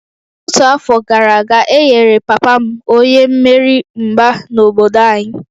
Ọtụtụ afọ gara aga, e nyere papa m onye mmeri mgba n'obodo anyị